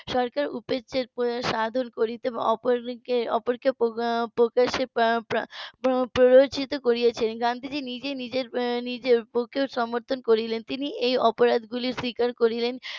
সরকার উপেক্ষা করেছেন এবং অপরকে প্রকাশ্যে প্রো~ প্ররোচিত করিয়াছেন গান্ধীজি নিজেই নিজের নিজের বউকেও সমর্থন করিলেন তিনি এই অপরাধগুলো স্বীকার করিলেন